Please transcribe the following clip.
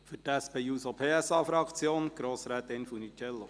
Für die SP-JUSO-PSA-Fraktion hat Grossrätin Funiciello das Wort.